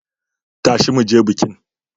Tashi mu je bikin!